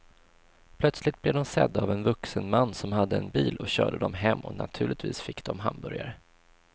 Plötsligt blev de sedda av en vuxen man som hade en bil och körde dem hem och naturligtvis fick de hamburgare.